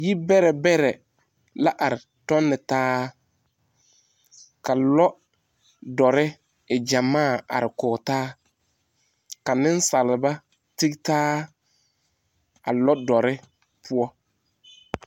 Yibɛrɛbɛrɛ la ar tɔntaa, ka lɔ... dɔrre e gyamaa a ar kɔɔ taa. Ka nensaleba tigitaa a lɔdɔrre poɔ.